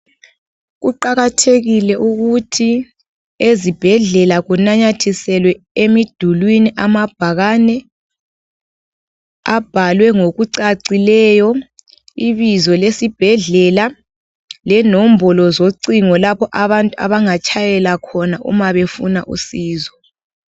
Kuqakathekile ukuthi, ezibhedlela kunanyathiselwe emidulwini amabhakane, abhalwe ngokucacileyo ibizo lesibhedlela lenombolo zocingo lapho abantu abangatshayela khona uma befuna usizo.